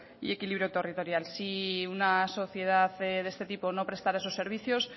y equilibrio territorial si una sociedad de este tipo no prestara esos servicios